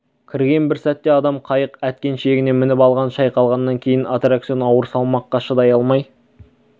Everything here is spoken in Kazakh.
кірген бір сәтте адам қайық әткеншегіне мініп алған шайқалғаннан кейін аттракцион ауыр салмаққа шыдай алмай